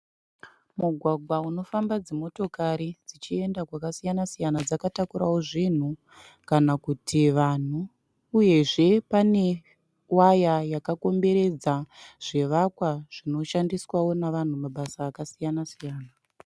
Mugwagwa unofamba dzimotokari dzichienda kwasiyana siyana dzakatakurao zvinhu kana kuti vanhu uyezve pane waya yakakomberedza zvivakwa zvinoshandiswao navanhu mabasa akasiyana siyana.